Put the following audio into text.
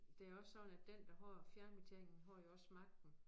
Det jo også sådan at den der har fjernbetjeningen har jo også magten